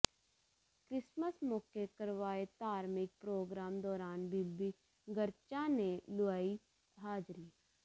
Christmas ਮੌਕੇ ਕਰਵਾਏ ਧਾਰਮਿਕ ਪ੍ਰੋਗਰਾਮ ਦੌਰਾਨ ਬੀਬੀ ਗਰਚਾ ਨੇ ਲੁਆਈ ਹਾਜ਼ਰੀ